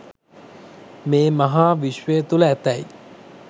මේ මහා විශ්වය තුළ ඇතැයි